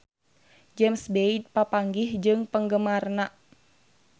James Bay papanggih jeung penggemarna